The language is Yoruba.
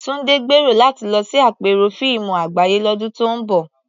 Tunde gbèrò láti lọ sí àpérò fíìmù àgbáyé lọ́dún tó ń bọ̀.